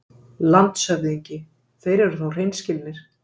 LANDSHÖFÐINGI: Þeir eru þó hreinskilnir.